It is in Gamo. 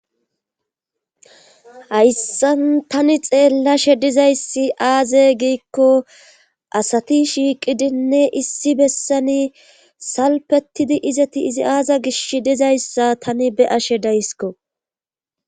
Hayssan tani xeellashe dizayssi aaze giikko asati shiiqidinne issi bessani salpetidi izati izi aaza gish dizayssa tani be ashe daysko.